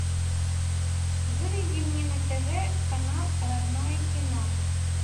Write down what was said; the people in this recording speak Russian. выведи мне на тв канал родное кино